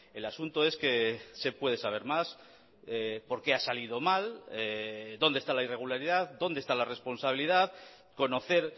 el asunto es que se puede saber más por qué ha salido mal dónde está la irregularidad dónde está la responsabilidad conocer